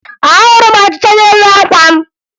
Ahụrụ m ọchịcha n'elu àkwà m